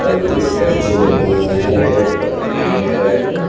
और कुछ पर्चे लगे हुए हैं रेड और पीले कलर के।